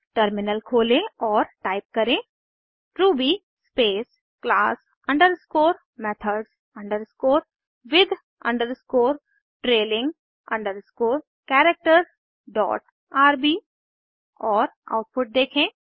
terminal खोलें और type करें Ruby space class underscore methods underscore with underscore trailing underscore characters dot RB और output देखें